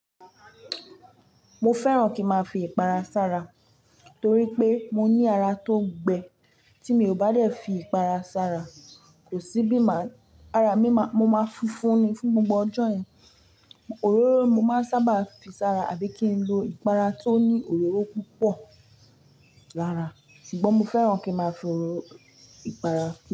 Mo fẹ́ràn kí n máa fi ìpara sara torí pé mo ní ara tó ń gbẹ. Tí mi ò bá dẹ̀ fi ìpara sara, kò sí bí máa, ara mi má, mo máa funfun ni fún gbogbo ọjọ́ yẹn. Òróró mo máa ń sábà fi sara àbí kí n lo ìpara tó ní òróró púpọ̀ lára. Ṣùgbọ́n mo fẹ́ràn kí n máa fi òróró ìpara.